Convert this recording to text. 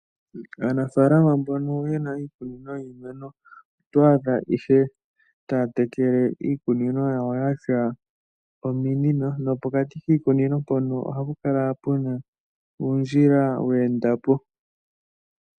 Aanafaalama mbono yena iikunino yiimeno, oto adha ihe taya tekele iikunino yawo yatya ominino nopokati kiikunino mpono ohapu kala puna uundjila we enda po.